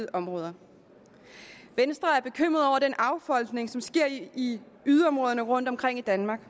områder venstre er bekymret over den affolkning som sker i yderområderne rundtomkring i danmark